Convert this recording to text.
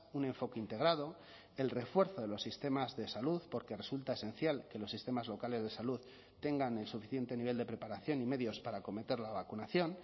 un enfoque integrado el refuerzo de los sistemas de salud porque resulta esencial que los sistemas locales de salud tengan el suficiente nivel de preparación y medios para acometer la vacunación